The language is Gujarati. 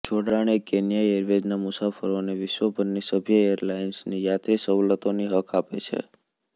જોડાણ એ કેન્યા એરવેઝના મુસાફરોને વિશ્વભરની સભ્ય એરલાઇન્સની યાત્રી સવલતોની હક આપે છે